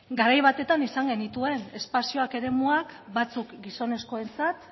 garai batean izan genituen espazioak edo eremuak batzuk gizonezkoentzat